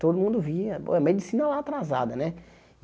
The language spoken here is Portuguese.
Todo mundo via, a medicina lá atrasada, né?